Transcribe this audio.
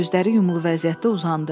Gözləri yumulu vəziyyətdə uzandı.